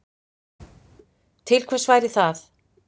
Til hvers væri það